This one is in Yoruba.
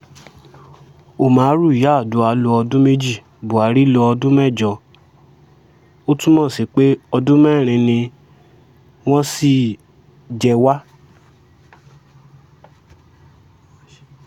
òmàrú yardua lo ọdún méjì buhari lo ọdún mẹ́jọ ó túmọ̀ sí pé ọdún mẹ́rin ni wọ́n ṣì jẹ wá